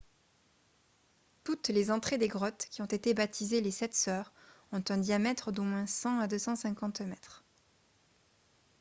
toutes les entrées des grottes qui ont été baptisées « les sept sœurs » ont un diamètre d’au moins 100 à 250 mètres